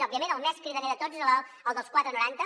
òbviament el més cridaner de tots és el dels quatre coma noranta